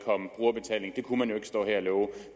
kunne man ikke stå her og love